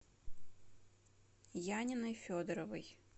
яниной федоровой